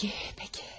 Bəki, bəki.